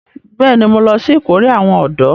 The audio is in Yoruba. Bẹ́ẹ̀ni, mo lọ sí ìkórè àwọn ọ̀dọ́